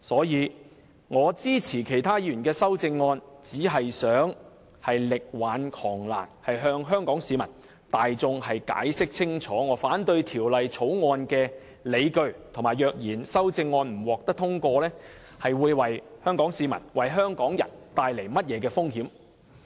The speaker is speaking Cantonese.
因此，我支持其他議員的修正案，只是想力挽狂瀾，向香港市民大眾解釋清楚我反對《條例草案》的理據，以及若然修正案不獲通過，會為香港市民帶來甚麼風險。